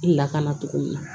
I lakana cogo min na